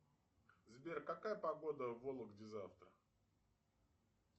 сбер какая погода в вологде завтра